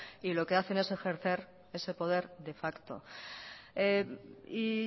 y lo que hacen es ejercer ese poder de facto y